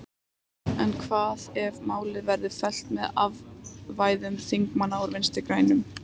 En hvað ef málið verður fellt með atkvæðum þingmanna úr Vinstri-grænum?